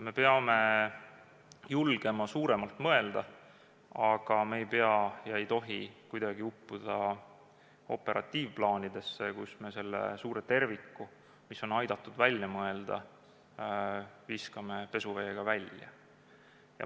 Me peame julgema suuremalt mõelda, aga me ei tohi uppuda operatiivplaanidesse, nii et me selle suure terviku, mida on aidatud välja mõelda, viskame pesuveega välja.